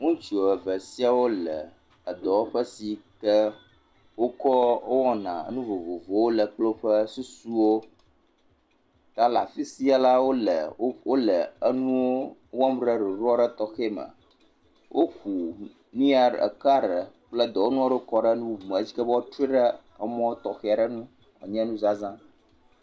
ŋutsu eve siawo le edɔwɔƒe si ke wokɔɔ wowɔna nu vovovowo le kple woƒe susuwo, ta le afi sia la, wole wole enuwo wɔm ɖe ɖoɖo aɖe tɔxɛ me, woku nu yia ɖ… eka ɖe kple dɔwɔnua ɖewo kɔ ɖe enu bubu me eshi ke be woatrɔe ɖe emɔ tɔxe ɖe nu wòanye nuzazã.